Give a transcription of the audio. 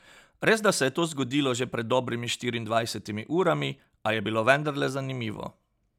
Resda se je to zgodilo že pred dobrimi štiriindvajsetimi urami, a je bilo vendarle zanimivo.